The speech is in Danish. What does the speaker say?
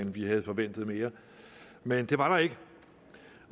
vi havde forventet mere men det var der ikke